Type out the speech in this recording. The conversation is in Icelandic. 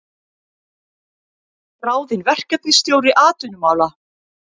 Ráðinn verkefnisstjóri atvinnumála